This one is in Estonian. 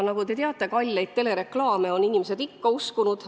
Nagu te teate, kalleid telereklaame on inimesed ikka uskunud.